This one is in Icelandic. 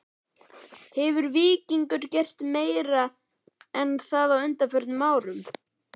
Hefur Víkingur gert meira en það á undanförnum árum??